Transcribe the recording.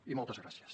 i moltes gràcies